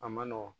A ma nɔgɔn